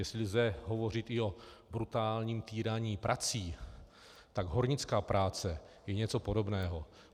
Jestli lze hovořit i o brutálním týraní prací, tak hornická práce je něco podobného.